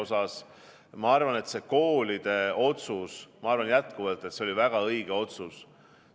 Ma arvan jätkuvalt, et see koolide suhtes tehtud otsus oli väga õige otsus.